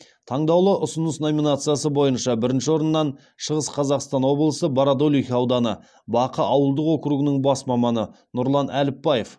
таңдаулы ұсыныс номинациясы бойынша бірінші орыннан шығыс қазақстан облысы бородулиха ауданы бақы ауылдық округінің бас маманы нұрлан әліпбаев